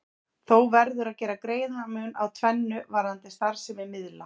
Þó verður að gera greinarmun á tvennu varðandi starfsemi miðla.